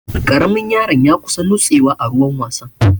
Ƙaramin yaron ya kusa nutsewa a ruwan wasan.